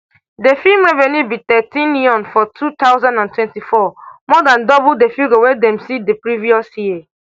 di film revenue be thirteenm yuan for two thousand and twenty-four more dan double di figure wey dem see di previous year